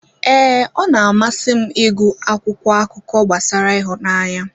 Ee, ọ na-amasị m ịgụ akwụkwọ akụkọ gbasara ịhụnanya.